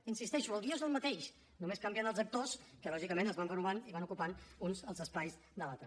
hi insisteixo el guió és el mateix només canvien els actors que lògicament es van renovant i van ocupant uns els espais de l’altre